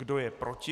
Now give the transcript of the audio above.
Kdo je proti?